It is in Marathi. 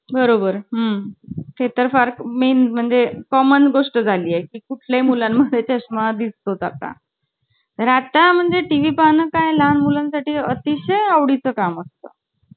बरोबर, हम्म ते तर फार main म्हणजे common गोष्ट झाली आहे ती कुठल्या मुलांमध्ये चस्मा दिसतो आता राता म्हणजे TV पाहणं काय लहान मुलांसाठी अतिशय आवडी चं काम असतं म्हणजे